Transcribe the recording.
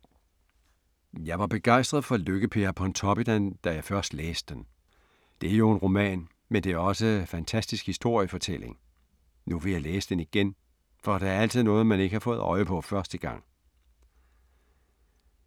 Jeg var begejstret for Lykke-Per af Pontoppidan, da jeg først læste den. Det er jo en roman, men det er også fantastisk historiefortælling. Nu vil jeg læse den igen, for der er altid noget, man ikke har fået øje på første gang.